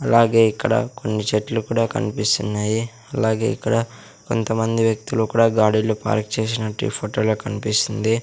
అలాగే ఇక్కడ కొన్ని చెట్లు కూడ కన్పిస్తున్నాయి అలాగే ఇక్కడ కొంత మంది వ్యక్తులు కూడా గాడీలు పార్క్ చేసినట్టు ఈ ఫొటో లో కన్పిస్తుంది.